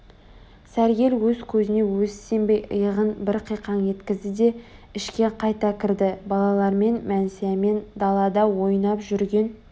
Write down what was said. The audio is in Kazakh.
сәргел өз көзіне өзі сенбей иығын бір қиқаң еткізді де ішке қайта кірді балалар мәнсиямен далада ойнап жүрген